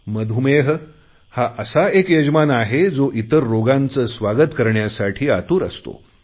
मधुमेह हा एक असा यजमान आहे जो इतर रोगांचे स्वागत करण्यासाठी आतुर असतो